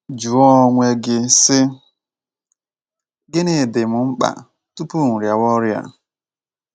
Jụọ onwe gị, sị: ‘ Gịnị dị m mkpa tupu m rịawa ọrịa?